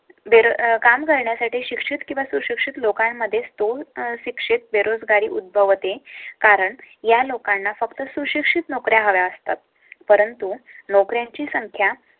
अं वेळ काम करण्यासाठी शिक्षित किंवा सुशिक्षित लोकांमध्ये तो अशिक्षित, बेरोजगारी उद्भव ते. कारण या लोकांना फक्त सुशिक्षित नोकरी हव्या असतात. परंतु नोकरांची संख्या